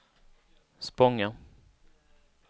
Spånga